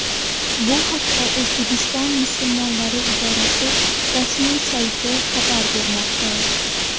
Bu haqda O‘zbekiston musulmonlari idorasi rasmi sayti xabar bermoqda.